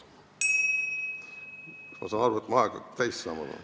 Ma saan aru, et mu aeg hakkab täis saama.